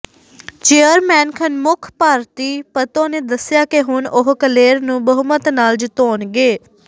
chairman Khanmukh Bharti Patto ਨੇ ਦੱਸਿਆ ਕਿ ਹੁਣ ਉਹ ਕਲੇਰ ਨੂੰ ਬਹੁਮਤ ਨਾਲ ਜਿਤਾਉਣਗੇ